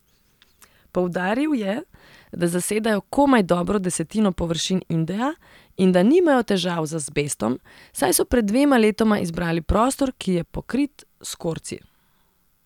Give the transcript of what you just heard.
Poudaril je, da zasedajo komaj dobro desetino površin Indeja in da nimajo težav z azbestom, saj so pred dvema letoma izbrali prostor, ki je pokrit s korci.